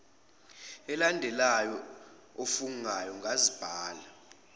elandelayo ofungayo ngazibhala